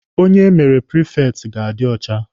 Onye emere prifekti ga-adi ọcha.